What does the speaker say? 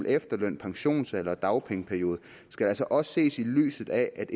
efterløn pensionsalder og dagpengeperiode skal altså også ses i lyset af at